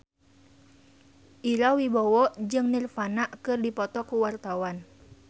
Ira Wibowo jeung Nirvana keur dipoto ku wartawan